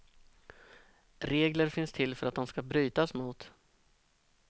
Regler finns till för att de ska brytas mot.